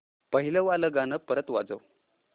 पहिलं वालं गाणं परत वाजव